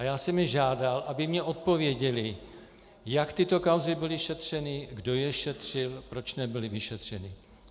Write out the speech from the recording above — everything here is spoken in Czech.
A já jsem je žádal, aby mi odpověděli, jak tyto kauzy byly šetřeny, kdo je šetřil, proč nebyly vyšetřeny.